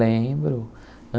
Lembro.